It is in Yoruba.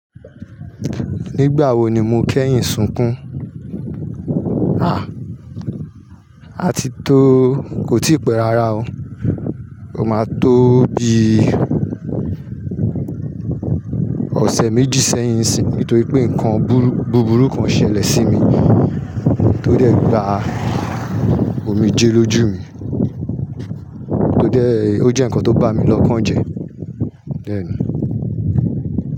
Nígbà wo ni mo kẹ́yìn sunkún? À, àti tó kò tí pẹ́ rárá o. Ó máa tó bi ọ̀sẹ̀ méjì sẹ́yìn nsìnyi nítorí pé nǹkan búburú kan ṣẹlẹ̀ sí mi tó dẹ̀ gba omijé lójú mi, tó jẹ́ ǹkan tó bá mi lọ́kàn jẹ.